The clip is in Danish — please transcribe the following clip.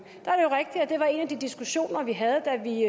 er det var en af de diskussioner vi havde da vi